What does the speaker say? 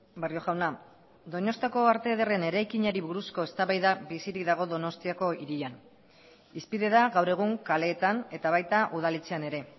barrio jauna donostiako arte ederren eraikinari buruzko eztabaida bizirik dago donostiako hirian hizpide da gaur egun kaleetan eta baita udaletxean ere